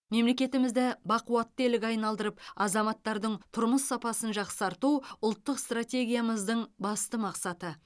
мемлекетімізді бақуатты елге айналдырып азаматтардың тұрмыс сапасын жақсарту ұлттық стратегиямыздың басты мақсаты